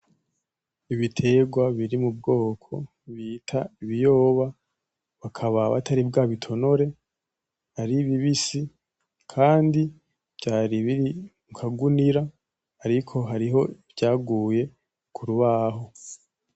Ibiterwa biri mu bwoko bita ibiyoba, bakaba batari bwa bitonore ari bibisi, kandi vyari biri ku kagunira ariko hariho ivyaguye ku rubaho.